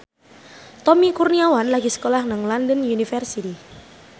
Tommy Kurniawan lagi sekolah nang London University